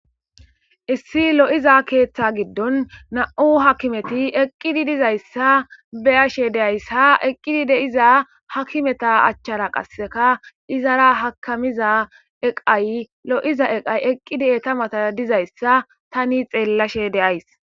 issi lo7iza keeththa giddon na7u hakimeti eqqidi dizayssa beyashe deaysha eqqidi deiza hakimeta achchara qasseka izara hakamiza eqay lo7iza eqay eqqidi etamata dizayssa tani xeellashe deays